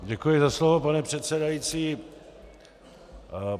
Děkuji za slovo, pane předsedající.